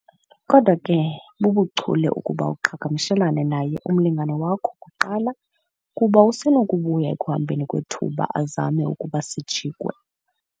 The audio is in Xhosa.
Kodwa ke, bubuchule ukuba uqhagamshelane naye umlingane wakho kuqala kuba usenokubuya ekuhambeni kwethuba azame ukuba sijikwe